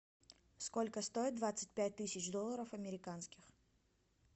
сколько стоит двадцать пять тысяч долларов американских